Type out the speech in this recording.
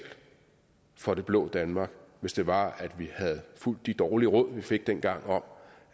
for det blå danmark hvis det var at vi havde fulgt de dårlige råd vi fik dengang om